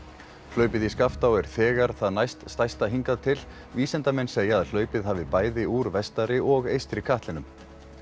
hlaupið í Skaftá er þegar það næst stærsta hingað til vísindamenn segja að hlaupið hafi bæði úr vestari og eystri katlinum